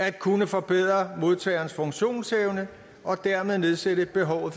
at kunne forbedre modtagerens funktionsevne og dermed nedsætte behovet